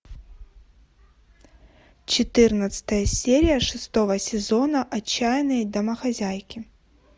четырнадцатая серия шестого сезона отчаянные домохозяйки